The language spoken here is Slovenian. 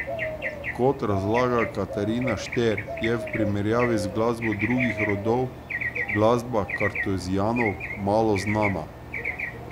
Kot razlaga Katarina Šter, je v primerjavi z glasbo drugih redov glasba kartuzijanov malo znana.